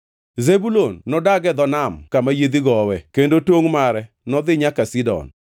“Zebulun nodag e dho nam kama yiedhi gowe, kendo tongʼ mare nodhi nyaka Sidon.